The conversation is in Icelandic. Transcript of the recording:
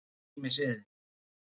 og ýmis iðn.